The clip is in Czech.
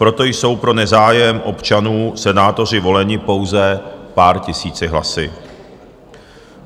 Proto jsou pro nezájem občanů senátoři voleni pouze pár tisíci hlasy.